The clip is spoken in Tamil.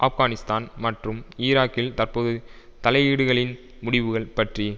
ஆப்கானிஸ்தான் மற்றும் ஈராக்கில் தற்போது தலையீடுகளின் முடிவுகள் பற்றி